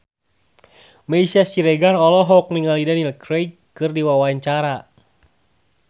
Meisya Siregar olohok ningali Daniel Craig keur diwawancara